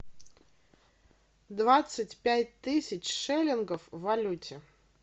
двадцать пять тысяч шиллингов в валюте